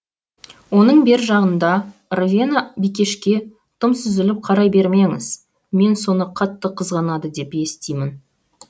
оның бер жағында ровена бикешке тым сүзіліп қарай бермеңіз мен соны қатты қызғанады деп естимін